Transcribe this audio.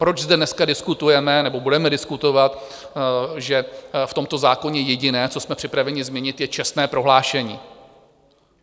Proč zde dneska diskutujeme, nebo budeme diskutovat, že v tomto zákoně jediné, co jsme připraveni změnit, je čestné prohlášení?